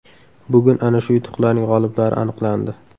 Bugun ana shu yutuqlarning g‘oliblari aniqlandi.